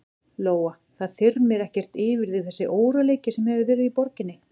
Lóa: Það þyrmir ekkert yfir þig þessi óróleiki sem hefur verið í borginni?